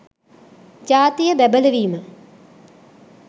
ජාතිය බැබළවීම